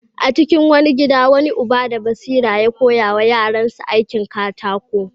A cikin wani gida, wani uba da basira ya koya wa yaransa aikin katako.